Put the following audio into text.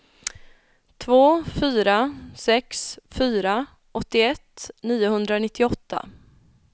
två fyra sex fyra åttioett niohundranittioåtta